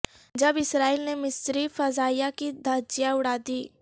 جب اسرائیل نے مصری فضائیہ کی دھجیاں اڑا دیں